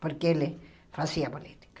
Porque ele fazia política.